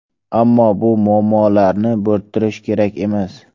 Ammo bu muammolarni bo‘rttirish kerak emas.